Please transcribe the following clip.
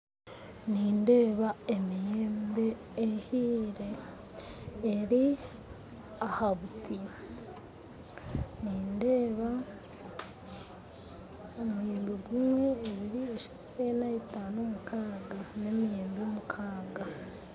Nindeeba emiyembe ehire eri ahabuti, nindeeba omuyembe gumwe, ebiri, eshatu, enna, etano, mukaaga, n'emiyembe mukaaga.